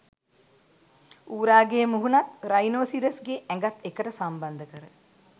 ඌරාගේ මුහුණත් රයිනෝසිරස්ගේ ඇඟත් එකට සම්බන්ධ කර